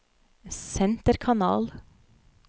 senterkanal